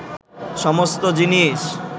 সমস্ত জিনিস